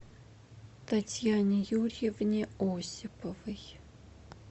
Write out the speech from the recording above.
татьяне юрьевне осиповой